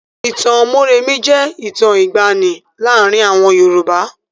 Ìtàn Mórèmí jẹ́ ìtàn ìgbàanì láàárin àwọn Yorùbá.